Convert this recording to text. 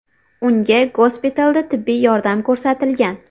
Unga gospitalda tibbiy yordam ko‘rsatilgan.